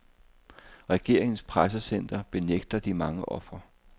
Regeringens pressecenter benægter de mange ofre.